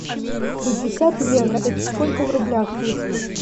пятьдесят евро это сколько в рублях будет